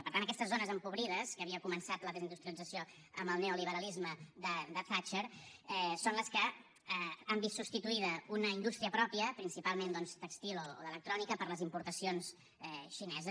per tant aquestes zones empobrides que havia començat la desindustrialització amb el neoliberalisme de thatcher són les que han vist substituïda una indústria pròpia principalment doncs tèxtil o d’electrònica per les importacions xineses